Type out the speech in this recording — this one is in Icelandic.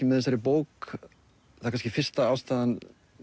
með þessari bók eða kannski fyrsta ástæða